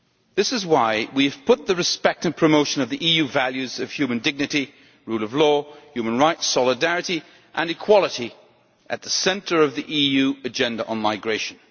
This is why we have put respect for, and the promotion of, the EU values of human dignity, the rule of law, human rights, solidarity and equality at the centre of the EU Agenda on Migration.